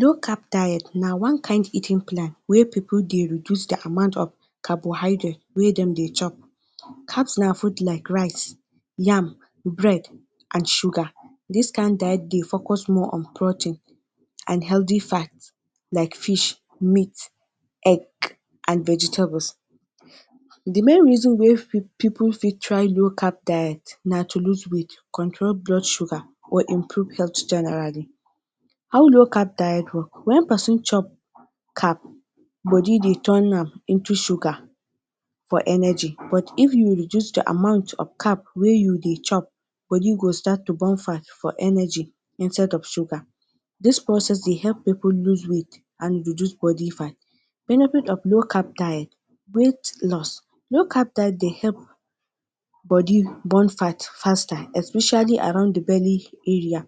Low-carb diet na one kain eating plan wey pipul dey reduce dey amount of carbohydrate wey dem dey chop. Carbs na food like rice, yam, bread and sugar. Dis kain diet dey focus more on protein and healthy fat like fish, meat, egg and vegetables. The main reason wey pipul fit try low-carb diet na to loose weight, control blood sugar or improve health generally. How low-carb diet roll; when pesin chop carb body dey turn am into sugar for energy but if you reduce di amount of carb wey you dey chop, body go start to burn fat for energy instead of sugar. Dis process dey help pipul loose weight and reduce body fat. Benefits of low-carb diet; weight loss- low-carb diet dey help body burn fat faster especially around dey belly area.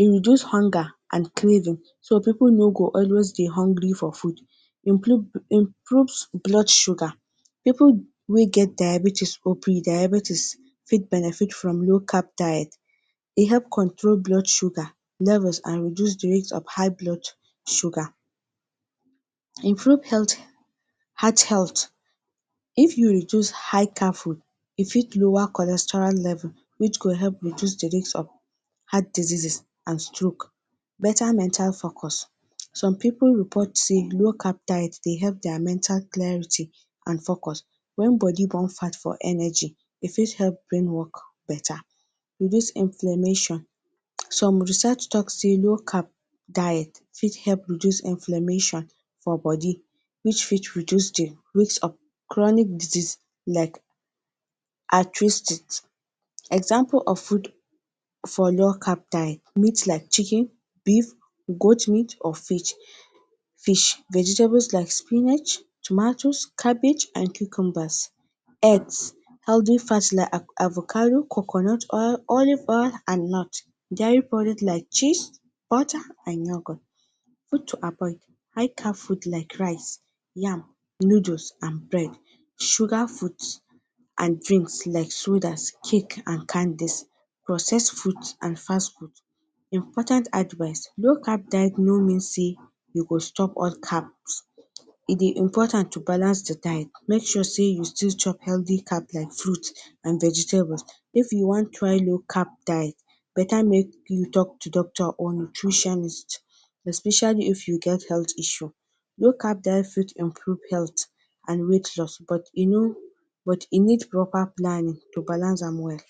E reduce hunger and craving so pipul no go dey always hungry for food. Improves blood sugar- pipul wey get diabetes or pre-diabetes fit benefit from low-carb diet. E help control blood sugar level and reduce the rate of high blood sugar. Improve health heart health- if you reduce high carb food you fit lower cholesterol level which go help reduce dey risk of heart diseases and stroke. Better mental focus- some pipul report say low carb-diet dey help dia mental clarity and focus. When body burn fat for energy, e fit help brain work better. Reduce inflammation- some research talk sey low-carb fit help reduce inflammation for body which fit reduce dey risk of chronic disease like arthritis. Example of food for low-carb diet; meat like chicken, beef, goat meat or fish. Vegetables kike spinach, tomatoes, cabbage and cucumbers. Eggs, healthy fats like avocado, coconut oil, olive oil and nuts. Diary products like cheese, butter and milk. Food to avoid; high carb-food like rice, yam, noodles and bread. Sugar foods and drinks like sodas, cake and candies, processed food and fast-food. Important advise- low-carb diet no mean sey you go stop all carbs, e dey important to balance dey diet. Make sure sey you still chop healthy carb like fruit and vegetables. If you wan try low-carb diet better meet up to doctor to doctor or nutritionist especially if you get health issue. Low carb-diet fit improve health and weight loss e no but e need proper planning to balance am well.